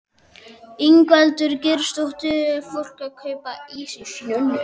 Ingveldur Geirsdóttir: Er fólk að kaupa ís í snjónum?